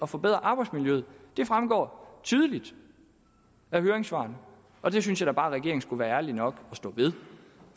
forbedre arbejdsmiljøet det fremgår tydeligt af høringssvarene og det synes jeg da bare at regeringen skulle være ærlig nok at stå ved